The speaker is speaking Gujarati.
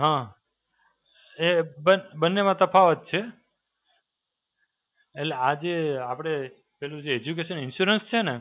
હાં, એ બસ બંનેમાં તફાવત છે. એટલે આ જે આપડે પેલું જે Education Insurance છે ને,